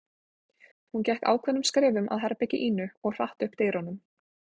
Hún gekk ákveðnum skrefum að herbergi Ínu og hratt upp dyrunum.